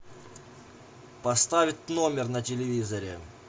поставить номер на телевизоре